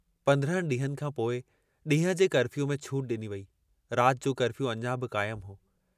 पंद्रहनि ॾींहनि खां पोइ डींहं जे कर्फ़ियूअ में छूट डिनी वेई, रात जो कर्फ़ियू अञां बि काइमु हो।